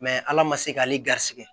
Mɛ ala ma se k'ale garisɛgɛ